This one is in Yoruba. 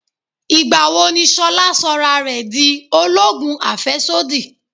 Ìgbà wo ni Ṣolá sọra rẹ di oloogun afesodi?